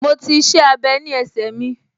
Mo ti --iṣẹ́-abẹ́ ní ẹsẹ mi